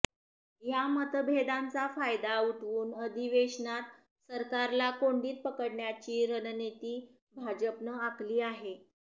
या मतभेदांचा फायदा उठवून अधिवेशनात सरकारला कोंडीत पकडण्याची रणनीती भाजपनं आखली आहे